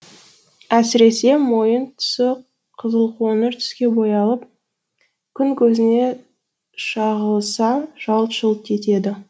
әсіресе мойын тұсы қызылқоңыр түске боялып күн көзіне шағылыса жалт жұлт етеді